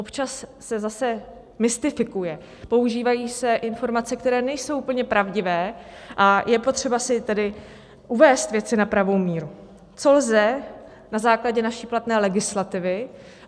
Občas se zase mystifikuje, používají se informace, které nejsou úplně pravdivé, a je potřeba si tedy uvést věci na pravou míru, co lze na základě naší platné legislativy.